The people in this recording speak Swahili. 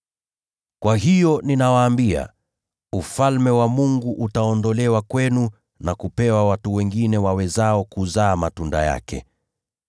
“Kwa hiyo ninawaambia, Ufalme wa Mungu utaondolewa kwenu na kupewa watu wengine wawezao kuzaa matunda yake.